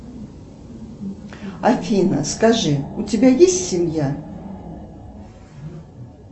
афина скажи у тебя есть семья